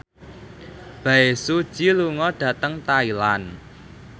Bae Su Ji lunga dhateng Thailand